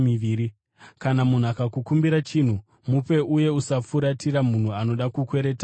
Kana munhu akakukumbira chinhu, mupe, uye usafuratira munhu anoda kukwereta kwauri.